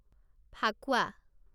Phakuwa